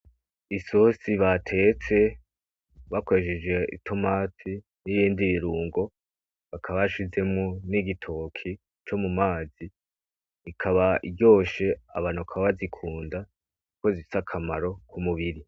Isosi batetse, bakoresheje itomati n'ibindi birungo, bakaba bashizemwo n'igitoki co mu mazi, ikaba iryoshe, abantu bakaba bazikunda kuko zifise akamaro ku mubiri.